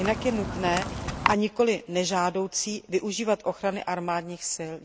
Jinak je nutné a nikoli nežádoucí využívat ochrany armádních sil.